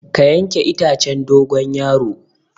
Ka yanke itacen dogon yaro.